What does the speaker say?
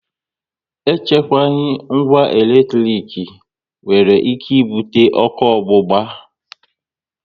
E chukwaghi ngwa eletrik nwere ike ibute ọkụ ogbugba